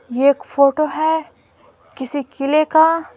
यह एक फोटो है किसी किले का--